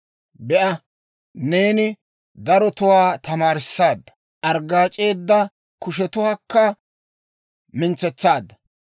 Be'a, neeni darotuwaa tamaarissaadda; arggaac'eedda kushetuwaakka mintsetsaadda.